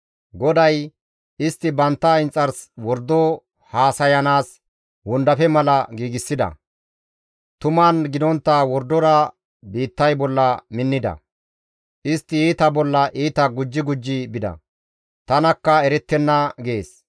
GODAY, «Istti bantta inxars wordo haasayanaas wondafe mala giigsida; tuman gidontta wordora biittay bolla minnida; istti iita bolla iita gujji gujji bida; tanakka erettenna» gees.